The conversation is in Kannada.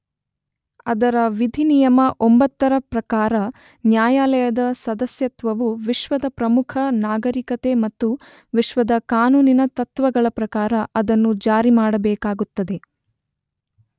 ಅದರ ವಿಧಿ ನಿಯಮ 9 ರ ಪ್ರಕಾರ ನ್ಯಾಯಾಲಯದ ಸದಸ್ಯತ್ವವು ವಿಶ್ವದ ಪ್ರಮುಖ ನಾಗರಿಕತೆ ಮತ್ತು ವಿಶ್ವದ ಕಾನೂನಿನ ತತ್ವಗಳ ಪ್ರಕಾರ ಅದನ್ನು ಜಾರಿ ಮಾಡಬೇಕಾಗುತ್ತದೆ.